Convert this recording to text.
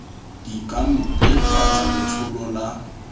di ka mpefatsa letshollo la